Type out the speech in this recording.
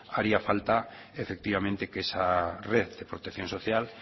haría falta efectivamente que esa red de protección social